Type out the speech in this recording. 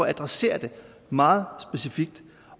at adressere det meget specifikt